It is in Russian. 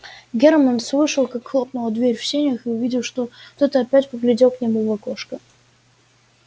герман слышал как хлопнула дверь в сенях и увидел что кто-то опять поглядел к нему в окошко